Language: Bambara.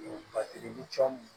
Batigi ni fɛnw